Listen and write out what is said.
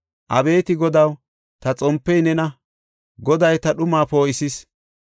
Abeeti Godaw, ta xompey nena; Goday ta dhumaa poo7isis.